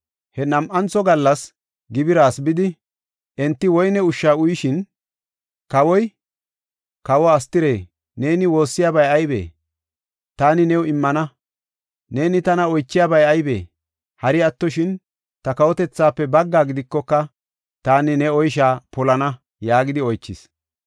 He nam7antho gallas gibiras bidi, enti woyne ushsha uyishin, kawoy, “Kawe Astire, neeni woossiyabay aybee? Taani new immana. Neeni tana oychiyabay aybee? Hari attoshin ta kawotethaafe baggaa gidikoka, taani ne oysha polana” yaagidi oychis.